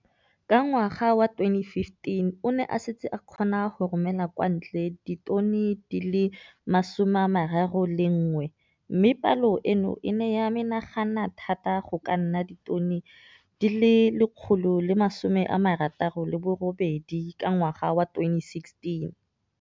Ka ngwaga wa 2015, o ne a setse a kgona go romela kwa ntle ditone di le 31 tsa ratsuru mme palo eno e ne ya menagana thata go ka nna ditone di le 168 ka ngwaga wa 2016.